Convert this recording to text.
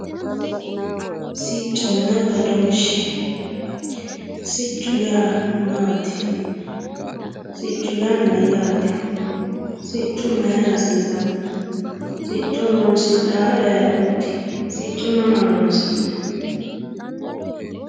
Sicconna badooshe, siccu yaa maati, siccu yaa mayate, siccu mayira hasisanno, sicco horonsidhawori ayeeootti sicco mama horonsinayi